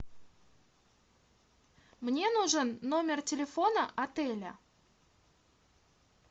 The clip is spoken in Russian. мне нужен номер телефона отеля